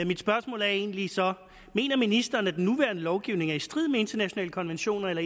mit spørgsmål er egentlig så mener ministeren at den nuværende lovgivning er i strid med internationale konventioner eller